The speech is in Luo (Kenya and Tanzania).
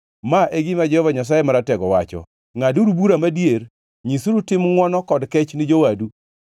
“Ma e gima Jehova Nyasaye Maratego wacho, ‘Ngʼaduru bura madier; nyisuru tim ngʼwono kod kech ni jowadu.